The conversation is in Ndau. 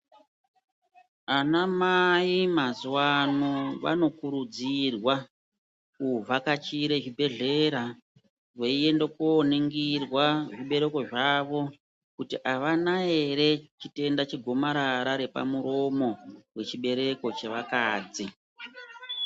Ana mai mazuva ano vano kurudzirwa ku vhakachire zvi bhedhlera vei ende ko ningirwa zvi bereko zvavo kuti avana ere chitenda che gomarara repa muromo we chibereko che vakadzi.